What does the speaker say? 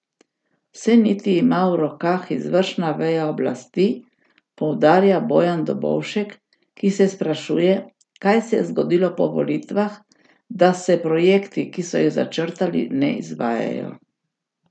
Vse niti ima v rokah izvršna veja oblasti, poudarja Bojan Dobovšek, ki se sprašuje, kaj se je zgodilo po volitvah, da se projekti, ki so jih začrtali, ne izvajajo.